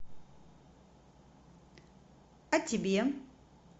а тебе